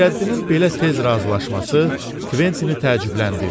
Xeyrəddinin belə tez razılaşması Kventini təəccübləndirdi.